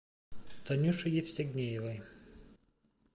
танюше евстигнеевой